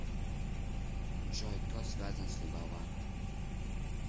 джой кто связан с либава